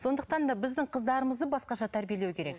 сондықтан да біздің қыздарымызды басқаша тәрбиелеу керек